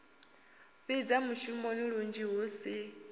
fhidza mushumoni lunzhi hu si